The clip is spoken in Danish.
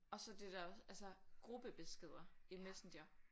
Og så det der altså gruppebeskeder i Messenger